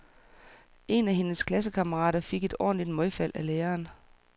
En af hendes klassekammerater fik et ordentligt møgfald af læreren.